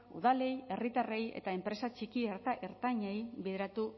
udalei herritarrei eta enpresa txiki eta ertainei begiratu